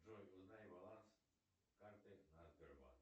джой узнай баланс карты на сбербанк